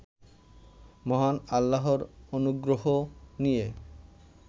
মহান আল্লাহর অনুগ্রহ নিয়ে